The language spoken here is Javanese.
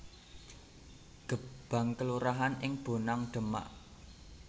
Gebang kelurahan ing Bonang Demak